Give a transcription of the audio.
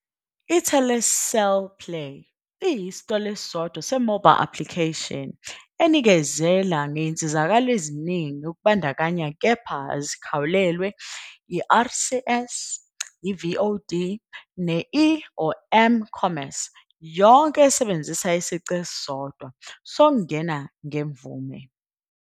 Telecel Play iyisitolo esisodwa se-Mobile application enikezela ngezinsizakalo eziningi kubandakanya kepha azikhawulelwe- I-RCS, i-VOD ne-E or M-commerce yonke esebenzisa isici esisodwa sokungena ngemvume.